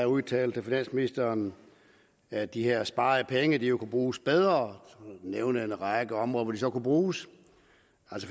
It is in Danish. udtalte finansministeren at de her sparede penge jo kunne bruges bedre og nævnt en række områder hvor de så kunne bruges